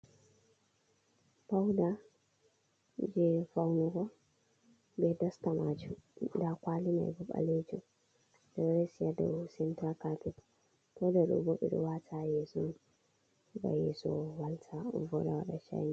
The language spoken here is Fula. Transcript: Pauda je faunugo be dasta majum da kwali mai bo balejum bedo resi ha do center capet, pauda do bo be do wata ha yeso on gam yeso walta voda wada chinin.